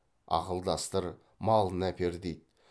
ақылдастыр малын әпер дейді